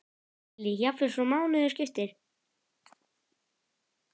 Lillý: Jafnvel svo mánuðum skipti?